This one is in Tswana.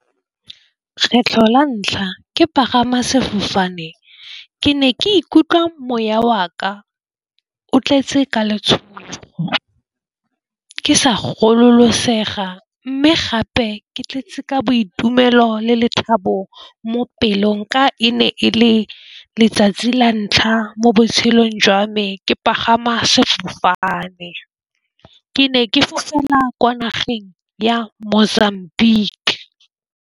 Kgetlho la ntlha ke pagama sefofane, ke ne ke ikutlwa moya wa ka o tletse ka letshogo. Ke sa gololosega mme gape ke tletse ka boitumelo le lethabo mo pelong. Ka e ne e le letsatsi la ntlha mo botshelong jwa me ke pagama sefofane ke ne ke fofela kwa nageng ya Mozambique.